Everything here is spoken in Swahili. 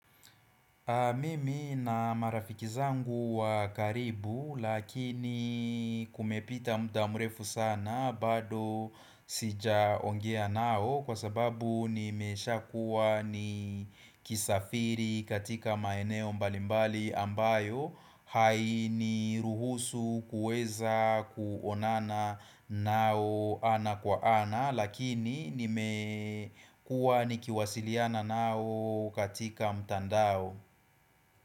Mimi na marafikizangu wakaribu lakini kumepita mda mrefu sana bado sijaongea nao kwa sababu nimesha kuwa ni kisafiri katika maeneo mbalimbali ambayo hai ni ruhusu kueza kuonana nao ana kwa ana Lakini nime kuwa nikiwasiliana nao katika mtandao.